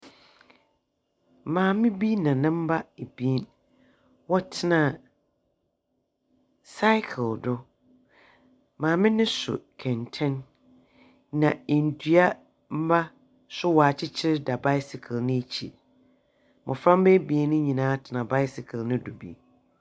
Maame bi na ne mba ebien. Wɔtsena cycle do. Maame no so kɛntɛn, na ndua mba nso wɔakyekyer da bicycle no ekyir. Mboframba ebien no nyinaa tsena bicycle no do bi.